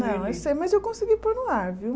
Não, eu sei mas eu consegui pôr no ar, viu?